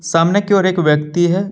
सामने के ओर एक व्यक्ति है।